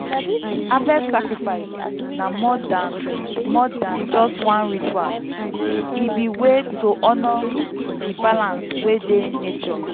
harvest sacrifice na more than more than just one ritual—e be way to honour di balance wey dey nature.